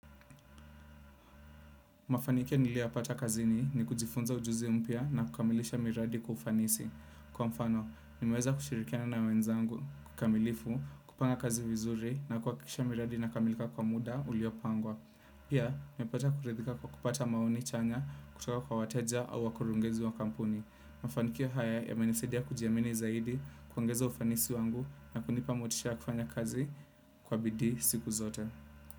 Mafanikio niliyoyapata kazini ni kujifunza ujuzi umpya na kukamilisha miradi kwa ufanisi. Kwa mfano, nimeweza kushirikiana wenzangu, kikamilifu, kupanga kazi vizuri na kuhakisha miradi inakamilika kwa muda uliopangwa. Pia, nipata kuridhika kwa kupata maoni chanya kutoka kwa wateja au wakurungezi wa kampuni. Mafanikio haya yamenisadia kujiamini zaidi, kuongeza ufanisi wangu na kunipa motisha kufanya kazi kwa bidii siku zote.